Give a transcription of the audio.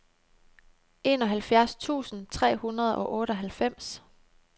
enoghalvfjerds tusind tre hundrede og otteoghalvfems